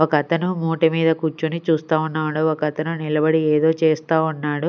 ఒక అతను మూటె మీద కూర్చొని చూస్తా ఉన్నాడు ఒక అతను నిలబడి ఏదో చేస్తా ఉన్నాడు.